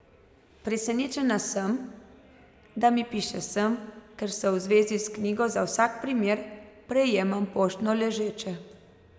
Presenečena sem, da mi piše sem, ker vse v zvezi s knjigo za vsak primer prejemam poštno ležeče.